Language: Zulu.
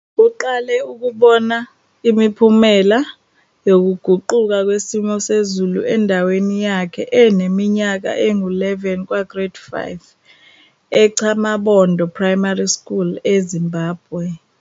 Uqale ukubona imiphumela yokuguquka kwesimo sezulu endaweni yakhe eneminyaka engu-11 kwaGrade 5 eChamabondo Primary School eZimbabwe.